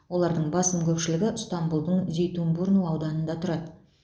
олардың басым көпшілігі ыстанбұлдың зейтунбурну ауданында тұрады